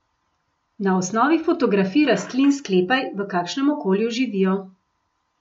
Na osnovi fotografij rastlin sklepaj, v kakšnem okolju živijo.